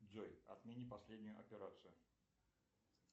джой отмени последнюю операцию